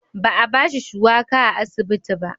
Ba a ba shi shuwaka a asibiti ba.